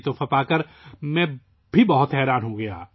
یہ تحفہ پا کر میں بھی بہت خوش ہوا